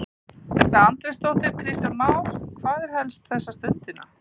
Edda Andrésdóttir: Kristján Már, hvað er helst þessa stundina?